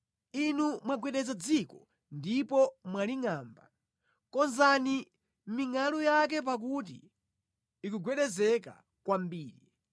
Inu mwagwedeza dziko ndipo mwalingʼamba, konzani mingʼalu yake pakuti ikugwedezeka kwambiri.